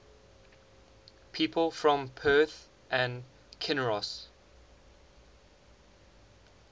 people from perth and kinross